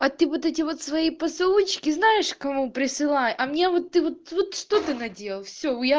а ты вот эти вот свои поцелуйчики знаешь кому присылай а мне вот ты вот вот что ты наделал всё я